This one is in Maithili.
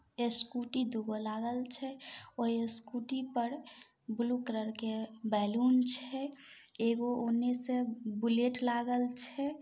स्कूटी दूगो लागल छैओय स्कूटी पर ब्लू कलर के बेलन छै एगो उने से बुलेट लागल छै।